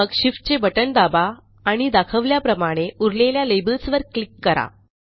आणि मग Shift चे बटण दाबा आणि दाखवल्याप्रमाणे उरलेल्या लेबल्सवर क्लिक करा